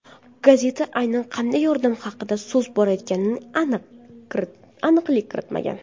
Gazeta aynan qanday yordam haqida so‘z borganiga aniqlik kiritmagan.